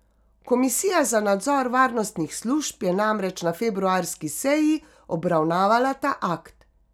Komisija za nadzor varnostnih služb je namreč na februarski seji obravnavala ta akt.